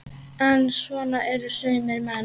En svona eru sumir menn.